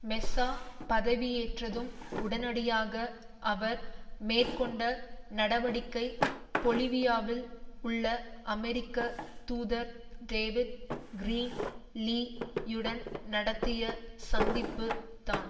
Mesa பதவியேற்றதும் உடனடியாக அவர் மேற்கொண்ட நடவடிக்கை பொலிவியாவில் உள்ள அமெரிக்க தூதர் டேவிட் கிரீன் லீ யுடன் நடத்திய சந்திப்பு தான்